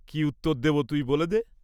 কি উত্তর দেব তুই বলে দে।